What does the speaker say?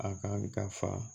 A ka fa